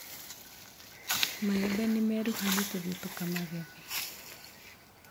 Maembe nĩmeruha nĩtũthĩ tũkamagethe.